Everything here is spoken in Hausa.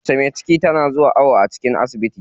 Mace me ciki na zuwa awon ciki a asibiti.